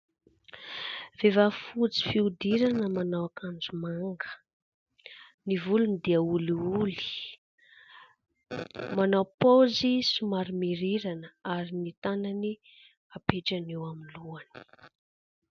Vehivavy fotsy fihodirana manao akanjo manga, ny volony dia olioly, manao paozy somary mirirana ary ny tanany hapetrany eo amin'ny lohany.